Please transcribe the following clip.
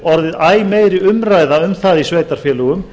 orðið æ meiri umræða um það í sveitarfélögum